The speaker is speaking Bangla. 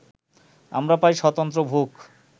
আমরা পাই স্বতন্ত্র ভূখ